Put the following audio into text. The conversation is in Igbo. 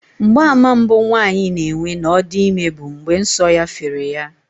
Mgbaàmà mbụ nwaanyị na-enwe na ọ dị ime bụ mgbe nsọ fere ya